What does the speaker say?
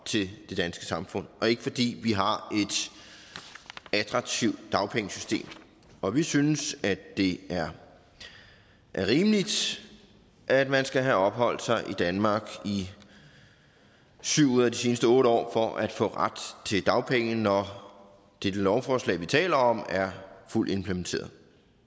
til det danske samfund og ikke fordi vi har et attraktivt dagpengesystem og vi synes det er rimeligt at man skal have opholdt sig i danmark i syv ud af de seneste otte år for at få ret til dagpenge når dette lovforslag vi taler om er fuldt implementeret